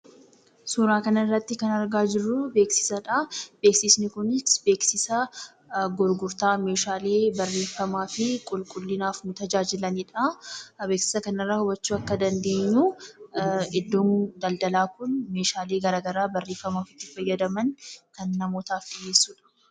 Suuraa kanarratti kan argaa jirruu, beeksisadha. Beeksisni kunis beeksisa gurgurtaa meeshaalee barreefamaafi qulqullinaaf nu tajaajilanidha. Beeksisa kanarraa hubachuu akka dandeenyuu iddoon daldalaa kun meeshaalee garagaraa barreefamaaf itti fayyadaman kan namootaaf dhiyeessudha.